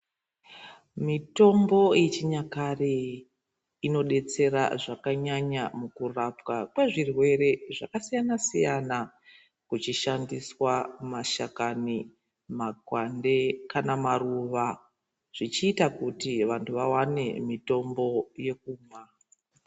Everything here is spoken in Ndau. Mitombo yechinyakare inobetsera zvakanyanya mukurapwa kwezvirwere zvakasiyana-siyana, kuchishandiswa mashakani, makwande kanamaruva zvichiita kuti vantu vavane mitombo yekumwa.